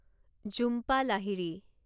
Jhumpa Lahiri